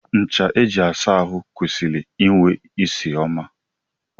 Ncha eji asa ahụ kwesịrị inwe ịsị ọma.